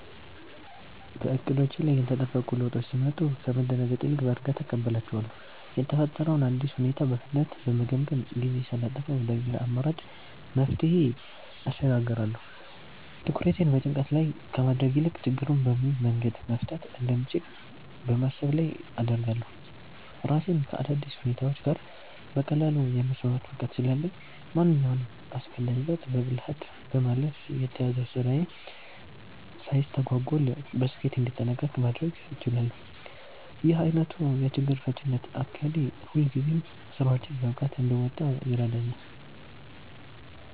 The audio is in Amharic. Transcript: በዕቅዶቼ ላይ ያልተጠበቁ ለውጦች ሲመጡ ከመደናገጥ ይልቅ በእርጋታ እቀበላቸዋለሁ። የተፈጠረውን አዲስ ሁኔታ በፍጥነት በመገምገም፣ ጊዜ ሳላጠፋ ወደ ሌላ አማራጭ መፍትሄ እሸጋገራለሁ። ትኩረቴን በጭንቀት ላይ ከማድረግ ይልቅ ችግሩን በምን መንገድ መፍታት እንደምችል በማሰብ ላይ አደርጋለሁ። ራሴን ከአዳዲስ ሁኔታዎች ጋር በቀላሉ የማስማማት ብቃት ስላለኝ፣ ማንኛውንም አስገዳጅ ለውጥ በብልሃት በማለፍ የተያዘው ስራዬ ሳይስተጓጎል በስኬት እንዲጠናቀቅ ማድረግ እችላለሁ። ይህ ዓይነቱ የችግር ፈቺነት አካሄዴ ሁልጊዜም ስራዎቼን በብቃት እንድወጣ ይረዳኛል።